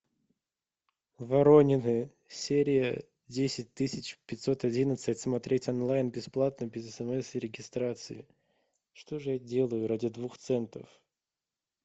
воронины серия десять тысяч пятьсот одиннадцать смотреть онлайн бесплатно без смс и регистрации что же я делаю ради двух центов